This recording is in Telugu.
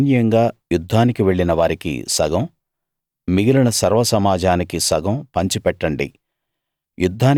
సైన్యంగా యుద్ధానికి వెళ్ళిన వారికి సగం మిగిలిన సర్వసమాజానికి సగం పంచిపెట్టండి